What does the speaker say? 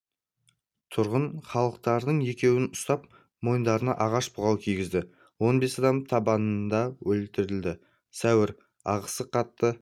тұрғын халықтардың екеуін ұстап мойындарына ағаш бұғау кигізді он бес адам табанда өлтірілді сәуір ағысы қатты